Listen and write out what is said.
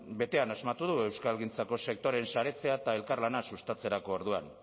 betean asmatu du euskalgintzako sektoreen saretzea eta elkarlana sustatzerako orduan